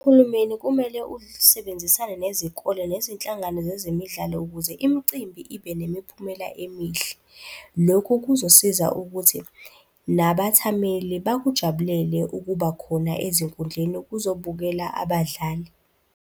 Uhulumeni kumele usebenzisane nezikole nezinhlangano zezemidlalo ukuze imicimbi ibe nemiphumela emihle. Lokhu kuzosiza ukuthi nabathameli bakujabulele ukuba khona ezinkundleni ukuzobukela abadlali.